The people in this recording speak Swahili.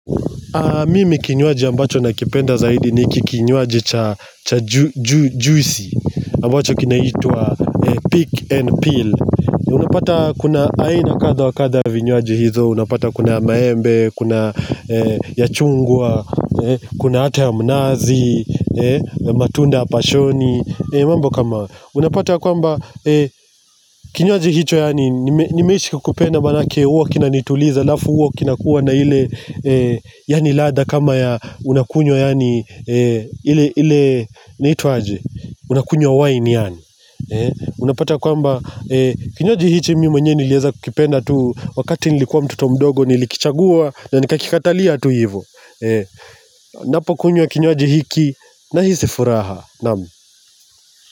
Mimi kinywaji ambacho nakipenda zaidi ni kinywaji cha juicy ambacho kinaitwa pick and peel Unapata kuna aina kadha wakatha vinyuaji hizo Unapata kuna maembe, kuna ya chungwa, kuna hata ya mnazi, matunda ya pashoni Unapata kwamba kinywaji hicho yaani nimeishi kupenda manake uo kina nituliza alafu huo kinakuwa na ile yani ladha kama ya unakunywa yani ile na hitu aje unakunyo waini yani unapata kwamba kinywaji hichi mimi mwenyewe nilieza kukipenda tu wakati nilikuwa mtoto mdogo nilikichagua na nikakikatalia tu hivo napo kunywa kinywaji hiki nahisi furaha naam.